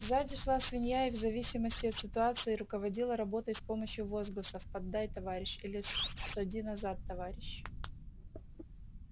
сзади шла свинья и в зависимости от ситуации руководила работой с помощью возгласов поддай товарищ или ссади назад товарищ